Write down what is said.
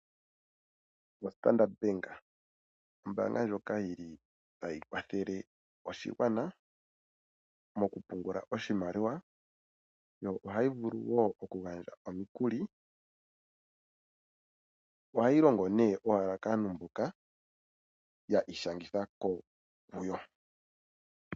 OStandard bank, ombaanga ndjoka yili tayi kwathele oshigwana mokupungula oshimaliwa yo ohayi vulu wo okugandja omukuli. Ohayi longo ne owala kaantu mboka ya ishangitha kuyo.